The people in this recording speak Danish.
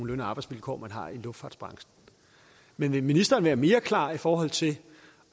løn og arbejdsvilkår man har i luftfartsbranchen men vil ministeren være mere klar i forhold til